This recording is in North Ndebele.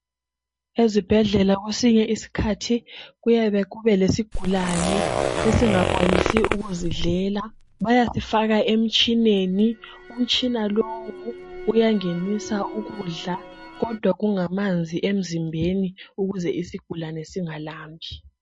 Esibhedlela kwesinye isikhathi kuyake kube lesigulane esingakwanisiyo ukuzidlela bayasifaka emtshineni umtshina lowu uyangenisa ukudla kodwa kungamanzi emzimbeni ukuze isigulane singalambi.